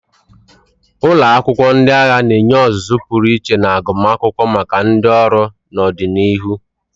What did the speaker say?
Ụlọ akwụkwọ ndị agha na-enye ọzụzụ pụrụ iche na agụmakwụkwọ maka ndị ọrụ n'ọdịnihu.